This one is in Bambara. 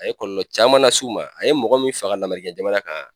A ye kɔlɔlɔ caman las'u ma, a ye mɔgɔ min faga lamerikɛn jamana kan